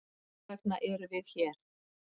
Þessvegna eru við hér.